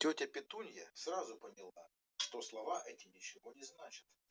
тётя петунья сразу поняла что слова эти ничего не значат